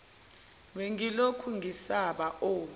bengilokhu ngisaba o